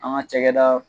An ka cakɛda